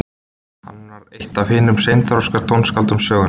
hann var eitt af hinum seinþroska tónskáldum sögunnar